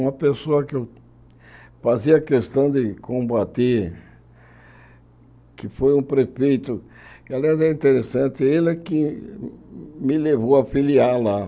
Uma pessoa que eu fazia questão de combater, que foi um prefeito, que aliás é interessante, ele é que me levou a filiar lá.